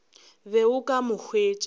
be o ka mo hwetša